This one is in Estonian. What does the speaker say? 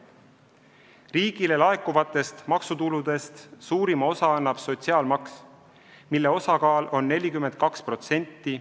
Riigile laekuvatest maksutuludest suurima osa annab sotsiaalmaks, mille osakaal on 42%.